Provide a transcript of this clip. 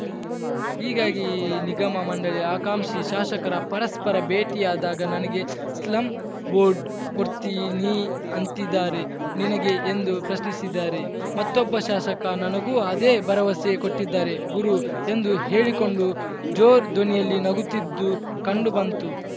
ಹೀಗಾಗಿ ನಿಗಮ ಮಂಡಳಿ ಆಕಾಂಕ್ಷಿ ಶಾಸಕರ ಪರಸ್ಪರ ಭೇಟಿಯಾದಾಗ ನನಗೆ ಸ್ಲಂ ಬೋರ್ಡ್‌ ಕೊಡ್ತೀನಿ ಅಂತಿದ್ದಾರೆ ನಿನಗೆ ಎಂದು ಪ್ರಶ್ನಿಸಿದರೆ ಮತ್ತೊಬ್ಬ ಶಾಸಕ ನನಗೂ ಅದೇ ಭರವಸೆ ಕೊಟ್ಟಿದ್ದಾರೆ ಗುರು ಎಂದು ಹೇಳಿಕೊಂಡು ಜೋರ್ ಧ್ವನಿಯಲ್ಲಿ ನಗುತ್ತಿದ್ದು ಕಂಡುಬಂತು